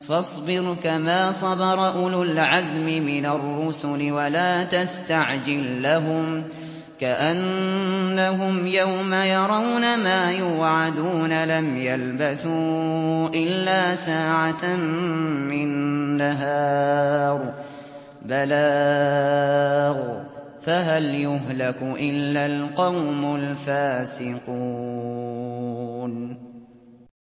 فَاصْبِرْ كَمَا صَبَرَ أُولُو الْعَزْمِ مِنَ الرُّسُلِ وَلَا تَسْتَعْجِل لَّهُمْ ۚ كَأَنَّهُمْ يَوْمَ يَرَوْنَ مَا يُوعَدُونَ لَمْ يَلْبَثُوا إِلَّا سَاعَةً مِّن نَّهَارٍ ۚ بَلَاغٌ ۚ فَهَلْ يُهْلَكُ إِلَّا الْقَوْمُ الْفَاسِقُونَ